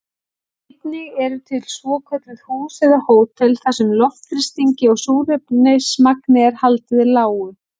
Einnig eru til svokölluð hús eða hótel þar sem loftþrýstingi og súrefnismagni er haldið lágu.